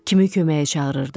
Kimi köməyə çağırırdı?